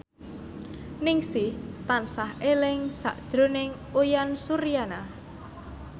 Ningsih tansah eling sakjroning Uyan Suryana